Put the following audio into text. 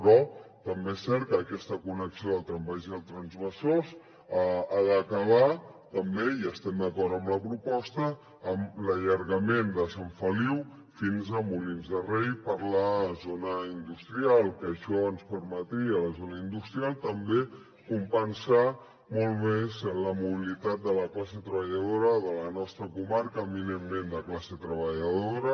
però també és cert que aquesta connexió del trambaix i el trambesòs ha d’acabar també i estem d’acord amb la proposta amb l’allargament de sant feliu fins a molins de rei per la zona industrial que això ens permetria a la zona industrial també compensar molt més la mobilitat de la classe treballadora de la nostra comarca eminentment de classe treballadora